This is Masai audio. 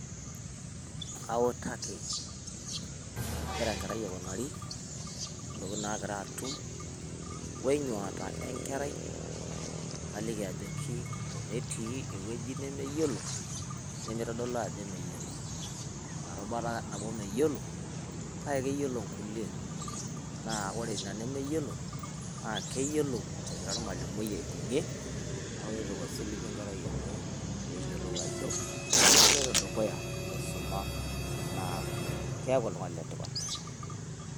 Kautaki enegira enkerai aikunari intokitin naagira atum o enyuata enkerai naliki ajoki tenetii ake ewueji nemeyiolo nemitodolu ajo meyiolo, kake keyiolo ikulie, naa ore ina nemeyiolo naa keyiolou egira oramalomui aibung'ie, nepik osilingi enkerai enye pee eyiolounajo keloita dukuya aisuma naa keeku oltung'ani letipat.